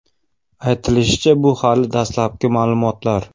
Aytilishicha, bu hali dastlabki ma’lumotlar.